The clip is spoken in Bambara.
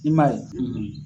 I man ye?